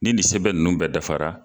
Ni nin sɛbɛn nunnu bɛɛ dafara